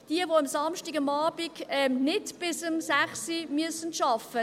Denjenigen, welche am Samstagabend nicht bis 18 Uhr arbeiten müssen, sage ich: